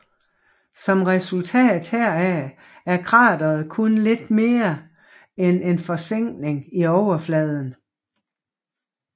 Som resultat heraf er krateret kun lidt mere end en forsænkning i overfladen